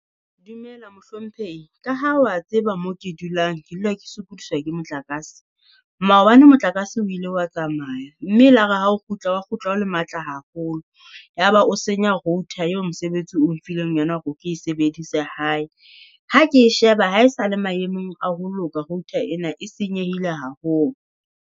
Dumela mohlomphehi. Ka ha wa tseba moo ke dulang, ke dula ke sokodiswa ke motlakase. Maobane motlakase wile wa tsamaya mme e la re hao kgutla, wa kgutla o le matla haholo. Yaba o senya router eo mosebetsi o mphileng yona hore ke e sebedise hae. Ha ke e sheba, ha e sale maemong a ho loka router ena, e senyehile haholo.